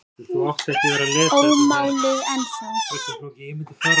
Ómáluð ennþá.